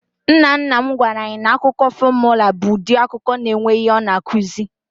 Nnanna m gwara anyị na akụkọ fọmụla bụ ụdị akụkọ na-enwe ihe ọ na-akụzi.